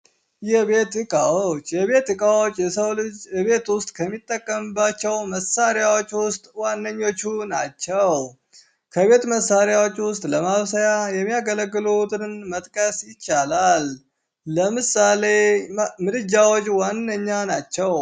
የቤት እቃዎች የቤት እቃዎች የሰው ልጅ ቤት ውስጥ ከሚጠቀምባቸው መሳሪያዎች ውስጥ ዋነኞቹ ናቸው። ከቤት እቃዎች ውስጥ ለማብሰያ የሚያገለግሉትን መጥቀስ ይቻላል። ለምሳሌ ምድጃዎች ዋነኞቹ ናቸው።